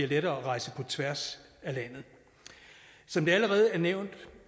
lettere at rejse på tværs af landet som det allerede er nævnt